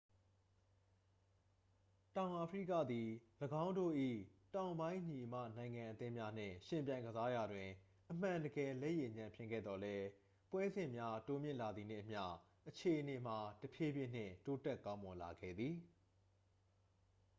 တောင်အာဖရိကသည် ၎င်းတို့၏ တောင်ပိုင်းညီအစ်မနိုင်ငံအသင်းများနှင့် ယှဉ်ပြိုင်ကစားရာတွင် အမှန်တကယ် လက်ရည်ညံ့ဖျင်းခဲ့သော်လည်း ပွဲစဉ်များတိုးမြင့်လာသည်နှင့်အမျှ အခြေအနေမှာ တဖြည်းဖြည်းနှင့် တိုးတက်ကောင်းမွန်လာခဲ့သည်